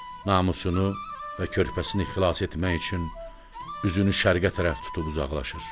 Namusunu və körpəsini xilas etmək üçün üzünü şərqə tərəf tutub uzaqlaşır.